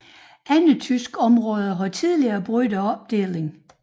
Andre tyske områder har tidligere brugt opdelingen